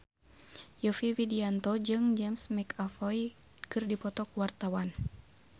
Yovie Widianto jeung James McAvoy keur dipoto ku wartawan